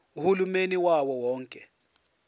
uhulumeni wawo wonke